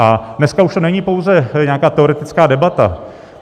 A dneska už to není pouze nějaká teoretická debata.